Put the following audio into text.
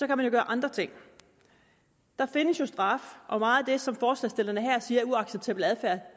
kan man gøre andre ting der findes jo straf og meget af det som forslagsstillerne her siger er uacceptabel adfærd